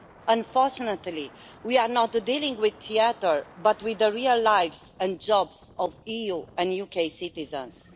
Unfortunately, we are not dealing with theatre, but with the real lives and jobs of EU and UK citizens.